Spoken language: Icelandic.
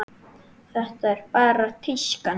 Þetta er bara tíska núna.